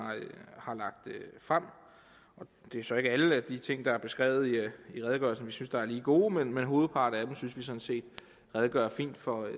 har lagt frem det er så ikke alle de ting der er beskrevet i redegørelsen vi synes er lige gode men hovedparten af dem synes vi sådan set redegør fint for